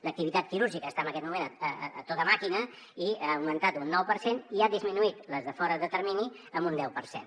l’activitat quirúrgica està en aquest moment a tota màquina i ha augmentat un nou per cent i ha disminuït les de fora de termini en un deu per cent